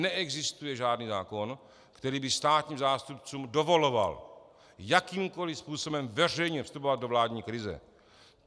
Neexistuje žádný zákon, který by státním zástupcům dovoloval jakýmkoli způsobem veřejně vstupovat do vládní krize.